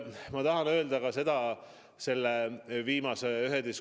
Ma tahan öelda veel üht asja, mida ma väga kõrgelt hindan.